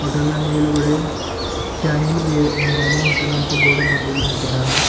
Hotel ನ್ ಮೇಲುಗಡೆ ಶಾಯಿನ್ ಬಿರ್ ಬಿರಿಯಾನಿ ಹೋಟೆಲ್ ಅಂತು ಬೋರ್ಡ ಬರ್ದಿನ್ ಹಾಕಿದ್ದಾರೆ.